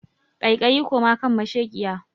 Kaikayi koma kan masheƙiya!